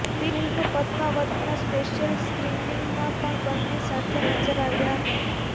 film પદ્માવતના special સ્ક્રિનિંગમાં પણ બંને સાથે નજર આવ્યા હતા